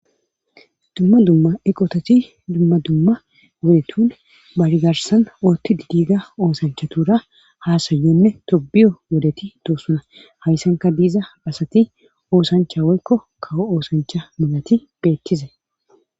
Dumma dumma eqotati dumma dumma ogetun woligarssan ootid diyoga oosanchatuura Haasayinne tobbiyiyo wodeti doosona haysankka diza asati oosancha woykko kawo oosancha melati beettuza